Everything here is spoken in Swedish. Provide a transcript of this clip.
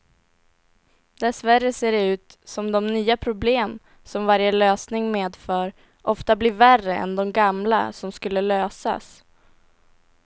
Dessvärre ser det ut som de nya problem som varje lösning medför ofta blir värre än de gamla som skulle lösas.